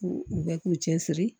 K'u u bɛ k'u cɛ siri